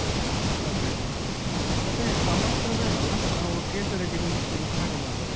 ಹಾ ಅದೇ ಅದೇ ಮತ್ತೆ ಸಮವಸ್ತ್ರ ಬೇಡ ಅಲ್ಲ ನಾವು ಕೇಸರಿ ಬಿಳಿ ಹಸಿರು ಹಾಗೆ ಮಾಡ್ವ ಅಲ್ಲಾ.